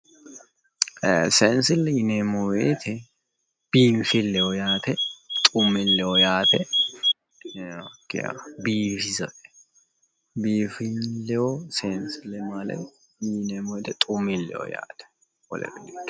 Ee sensile yineemmo woyte biinfileho yaate xumileho yaate ,biifisate ,sensile yineemmo woyte xu'mileho yaate wolere di'ikkino